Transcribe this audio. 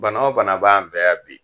Bana o bana b' an fɛ yan bi.